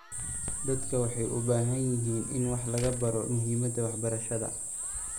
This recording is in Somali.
Dadku waxay u baahan yihiin in wax laga baro muhiimada waxbarashada.